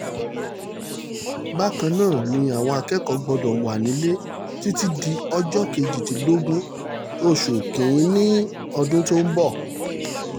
bákan náà ni àwọn akẹ́kọ̀ọ́ gbọ́dọ̀ wà nílẹ̀ títí di ọjọ́ kejìdínlógún oṣù kìn-ín-ní ọdún tó ń bọ̀